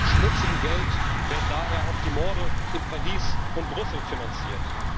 Mit schmutzigem Geld werden daher auch die Morde in Paris und Brüssel finanziert.